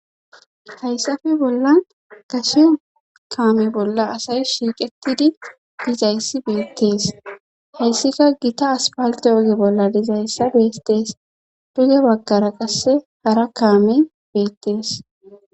hayssafi bolla gashe kaame bolla asay shiiqetidi dizayssi beettees heyssika gita aspalte oge bolla dizayssa beettees duge baggara qasse hara kaame beettees